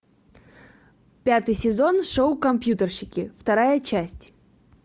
пятый сезон шоу компьютерщики вторая часть